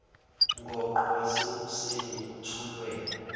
ngoqo wasekuseni othulwe